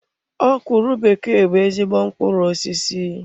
Okwuru bekee bụ ezigbo mkpụrụ osisi.